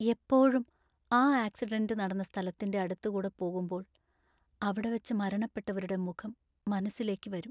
എപ്പോഴും ആ ആക്സിഡന്റ് നടന്ന സ്ഥലത്തിൻ്റെ അടുത്ത് കൂടെ പോകുമ്പോൾ അവിടെവെച്ച് മരണപ്പെട്ടവരുടെ മുഖം മനസ്സിലേക്ക് വരും.